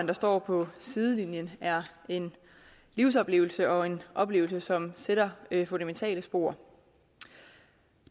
der står på sidelinjen er en livsoplevelse og en oplevelse som sætter fundamentale spor